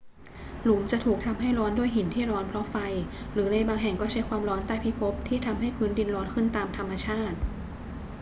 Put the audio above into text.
หลุมจะถูกทำให้ร้อนด้วยหินที่ร้อนเพราะไฟ หรือในบางแห่งก็ใช้ความร้อนใต้พิภพที่ทำให้พื้นดินร้อนขึ้นตามธรรมชาติ